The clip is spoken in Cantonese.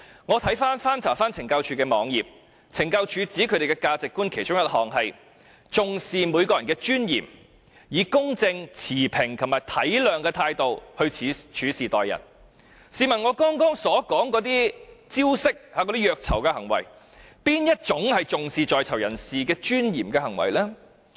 我曾翻查懲教署網頁，懲教署指他們的價值觀其中一項是"重視每個人的尊嚴，以公正持平及體諒的態度處事待人"，試問我剛才所說的那些虐囚招式和行為，有哪一種是重視在囚人士尊嚴的行為呢？